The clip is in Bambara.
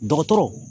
Dɔgɔtɔrɔ